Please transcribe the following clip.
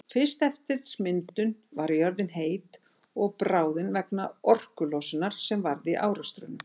Fyrst eftir myndun var jörðin heit og bráðin vegna orkulosunar sem varð í árekstrunum.